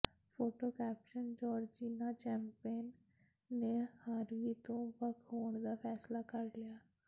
photo caption Georgina Chapman ਨੇ Harvey ਤੋਂ ਵੱਖ ਹੋਣ ਦਾ ਫ਼ੈਸਲਾ ਕਰ ਲਿਆ